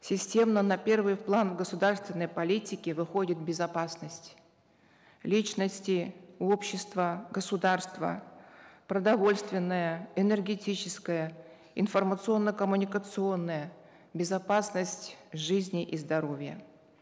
системно на первый план государственной политики выходит безопасность личности общества государства продовольственная энергетическая информационно коммуникационная безопасность жизни и здоровья